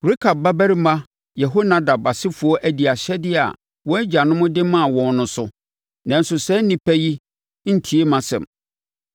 Rekab babarima Yehonadab asefoɔ adi ahyɛdeɛ a wɔn agyanom de maa wɔn no so, nanso saa nnipa yi ntie mʼasɛm.’